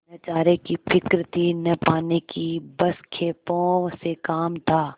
न चारे की फिक्र थी न पानी की बस खेपों से काम था